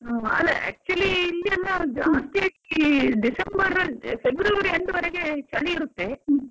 ಹಾ actually ಇಲ್ಲಿಯೆಲ್ಲಾ ಜಾಸ್ತಿಯಾಗಿ December, February end ವರೆಗೆ ಚಳಿ ಇರುತ್ತೆ